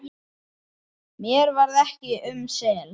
Mér varð ekki um sel.